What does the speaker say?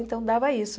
Então, dava isso.